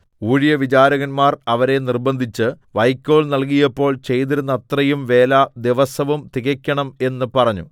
ഊഴിയവിചാരകന്മാർ അവരെ നിർബ്ബന്ധിച്ച് വൈക്കോൽ നൽകിയപ്പോൾ ചെയ്തിരുന്നതത്രയും വേല ദിവസവും തികക്കണം എന്ന് പറഞ്ഞു